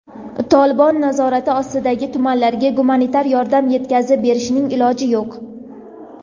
"Tolibon" nazorati ostidagi tumanlarga gumanitar yordam yetkazib berishning iloji yo‘q.